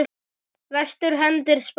Vestur hendir spaða.